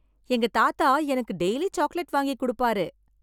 எங்க தாத்தா எனக்கு டெய்லி சாக்லேட் வாங்கி கொடுப்பார்.